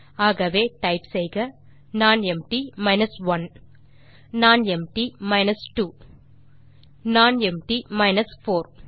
ஆகவே டைப் செய்க nonempty 1 nonempty 2 பின் நானெம்ப்டி 4